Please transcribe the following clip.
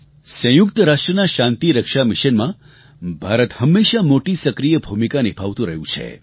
સંયુક્ત રાષ્ટ્રનાં શાંતિરક્ષા મિશનમાં ભારત હંમેશા મોટી સક્રિય ભૂમિકા નિભાવતું રહ્યું છે